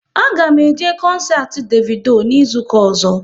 A ga m eje koncert Davido n'izuka ọzọ